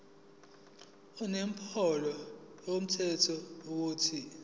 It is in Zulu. inombolo yomthelo ethi